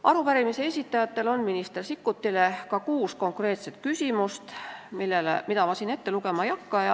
Arupärimise esitajatel on minister Sikkutile kuus konkreetset küsimust, mida ma siin ette lugema ei hakka.